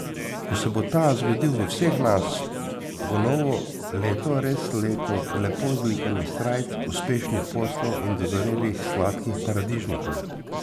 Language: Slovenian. Ko se bo ta zgodil v vseh nas, bo novo leto res leto lepo zlikanih srajc, uspešnih poslov in dozorelih sladkih paradižnikov.